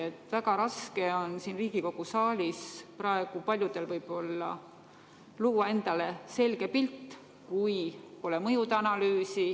Paljudel on võib-olla väga raske siin Riigikogu saalis luua endale selge pilt, kui pole mõjude analüüsi.